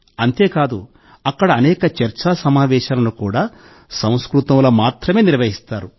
అంతే కాదు అక్కడ అనేక చర్చా సమావేశాలను సంస్కృతంలో మాత్రమే నిర్వహిస్తారు